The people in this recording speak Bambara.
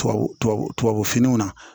Tubabu tubabu tubabu finiw na